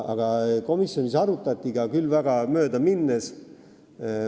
Komisjonis arutati seda ainult möödaminnes.